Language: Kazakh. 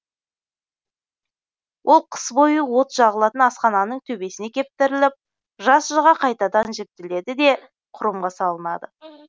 ол қыс бойы от жағылатын асхананың төбесіне кептіріліп жаз шыға қайтадан жібітіледі де кұрымға салынады